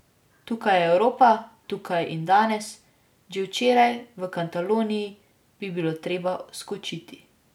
Tukaj je Evropa, tukaj in danes, že včeraj, v Kataloniji, bi bilo treba skočiti.